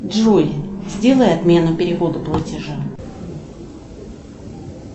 джой сделай отмену перевода платежа